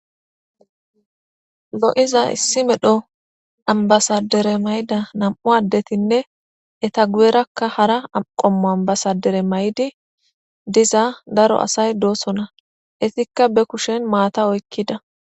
Lo'iza nam'u ambassadere mayida nam'u adettinne hetta guyerrakka harra qommo ambassadare mayidi diza daro assay dossona hettikka ba kushshen matta oykiidda